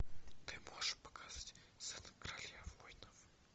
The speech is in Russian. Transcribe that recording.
ты можешь показать зена королева воинов